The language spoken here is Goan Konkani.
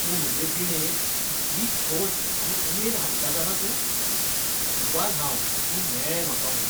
तूं म्हजे जिणेंत कितली खोस आनी उमेद हाडटा जाणा तूं? नशीबवान हांव तूं मेळ्ळें म्हाका म्हूण.